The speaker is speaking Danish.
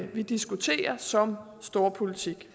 vi diskuterer som storpolitik